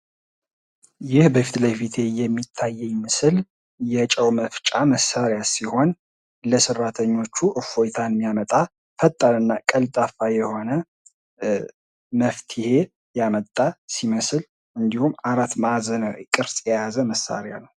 ይህ ፊትለፊት የሚታየኝ ምስል የጨው መፍጫ መሳሪያ ሲሆን ለሰራተኞቹ እፎይታ የሚያመጣ ፈጣንና ቀልጣፋ የሆነ መፍትሔ ያመጣ ሲመስል እንድሁም አራት ማዕዘን ቅርጽ የያዘ ነው።